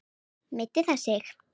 Meiddi það sig?